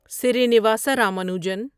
Srinivasa Ramanujan